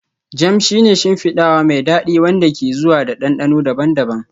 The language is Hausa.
Jam shi ne shimfidawa mai dadi wanda ke zuwa da dandano daban-daban